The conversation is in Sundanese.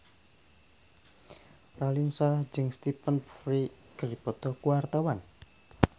Raline Shah jeung Stephen Fry keur dipoto ku wartawan